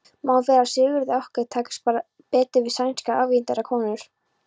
Má vera að Sigurði okkar takist betur við sænskar ævintýrakonur.